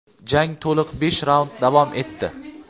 Jang to‘liq besh raund davom etdi.